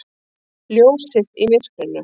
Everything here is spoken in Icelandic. Ljósið í myrkrinu!